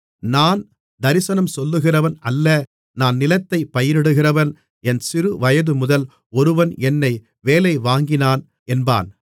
நான் தரிசனம் சொல்லுகிறவன் அல்ல நான் நிலத்தைப் பயிரிடுகிறவன் என் சிறுவயதுமுதல் ஒருவன் என்னை வேலைவாங்கினான் என்பான்